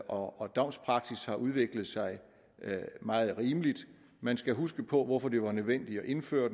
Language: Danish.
og at domspraksis har udviklet sig meget rimeligt man skal huske på hvorfor det var nødvendigt at indføre